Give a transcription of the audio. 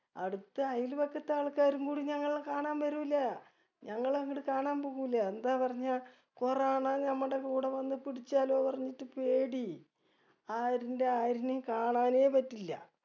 അടുത്ത അയല്പക്കത്തെ ആൾക്കാരുംകൂടി ഞങ്ങളെ കാണാൻ വെരൂല ഞങ്ങൾ അങ്ങട്ട് കാണാൻപോവൂല എന്താ പറഞ്ഞ corona നമ്മടെ കൂടെ വന്ന് പുടിച്ചാലോ പറഞ്ഞിട്ട് പേടി ആരൂല ആരുനേയും കാണാനേ പറ്റില്ല